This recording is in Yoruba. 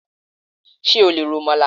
Ṣé o lè ro Amalà?